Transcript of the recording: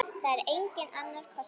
Það er enginn annar kostur.